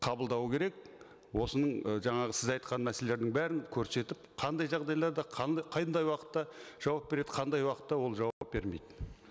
қабылдау керек осының ы жаңағы сіз айтқан мәселелердің бәрін көрсетіп қандай жағдайларда қандай уақытта жауап береді қандай уақытта ол жауап бермейді